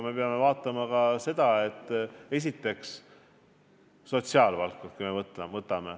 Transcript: Me peame arvestama ka sotsiaalvaldkonda.